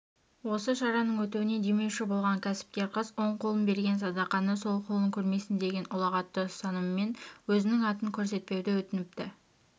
осы шараның өтуіне демеуші болған кәсіпкер қыз оң қолың берген садақаны сол қолың көрмесін деген ұлағатты ұстанымымен өзінің атын көрсетпеуді өтініпті